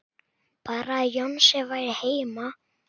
Bara að Jónsi væri heima.